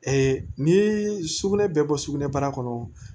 ni sugunɛ bɛ bɔ sugunɛbara kɔnɔ